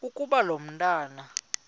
ukuba lo mntwana